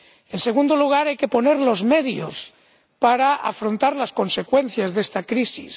En segundo lugar, hay que poner los medios para afrontar las consecuencias de esta crisis.